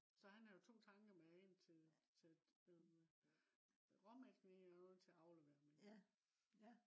så han havde jo to tanker med en til øh til råmælken i og en til at aflevere mælk